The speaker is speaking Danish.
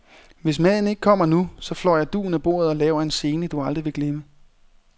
Hvis maden ikke kommer nu, så flår jeg dugen af bordet og laver en scene, du aldrig vil glemme.